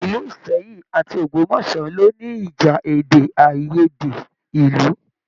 Ilú Ìsẹ́yìn àti Ogbomoso lo ní ìjà èdè aiyèdè ìlú.